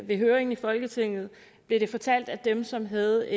ved høringen i folketinget blev det fortalt at dem som havde